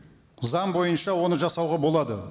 заң бойынша оны жасауға болады